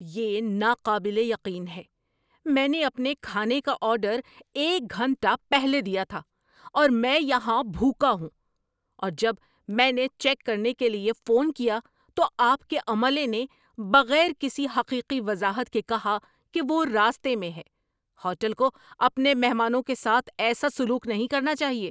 یہ ناقابل یقین ہے۔ میں نے اپنے کھانے کا آرڈر ایک گھنٹہ پہلے دیا تھا، اور میں یہاں بھوکا ہوں۔ اور جب میں نے چیک کرنے کے لیے فون کیا تو آپ کے عملے نے بغیر کسی حقیقی وضاحت کے کہا کہ وہ راستے میں ہے۔ ہوٹل کو اپنے مہمانوں کے ساتھ ایسا سلوک نہیں کرنا چاہیے۔